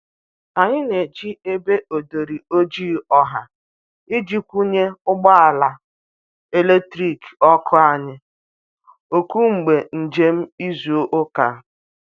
anyi n'eji ebe odori ojịị ọha iji kwunye ụgbọ ala eletrikị (ọkụ)anyi oku mgbe njem izu uka